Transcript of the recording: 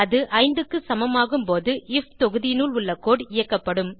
அது 5 க்கு சமமாகும்போது ஐஎஃப் தொகுதியினுள் உள்ள கோடு இயக்கப்படும்